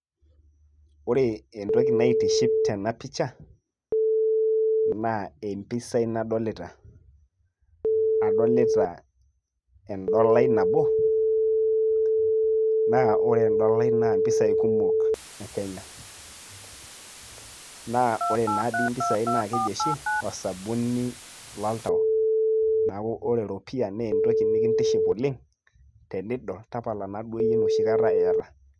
ore entoki naitiship tena picha naa empisai nadolita adolita endolai nabo naa ore endolai naa mpisai kumok e kenya naa ore naa dii impisai naa keji oshi osabuni loltau neeku ore eropia naa entoki nikintiship oleng tenidol tapala naaduo yie enoshi kata iyata.